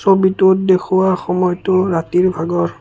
ছবিটোত দেখুওৱা সময়তো ৰাতিৰ ভাগৰ।